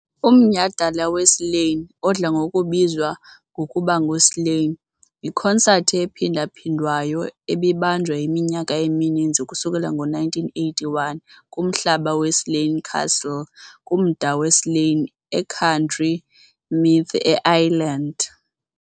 Umnyhadala weSlane, odla ngokubizwa ngokuba nguSlane, yikonsathi ephindaphindwayo ebibanjwa iminyaka emininzi ukusukela ngo-1981 kumhlaba weSlane Castle kumda weSlane e County Meath, eIreland.